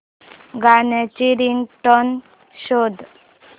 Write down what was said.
गाण्याची रिंगटोन शोध